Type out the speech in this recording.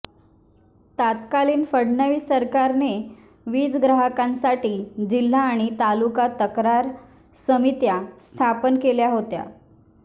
तत्कालीन फडणवीस सरकारने वीज ग्राहकांसाठी जिल्हा आणि तालुका तक्रार समित्या स्थापन केल्या होत्या